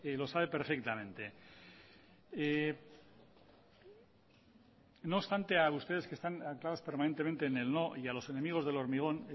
lo sabe perfectamente no obstante a ustedes que están anclados permanentemente en el no y a los enemigos del hormigón